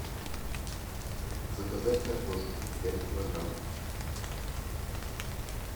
заказать картошку пять килограмм